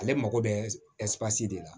Ale mago bɛ de la